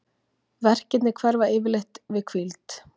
Verkirnir hverfa yfirleitt við hvíld.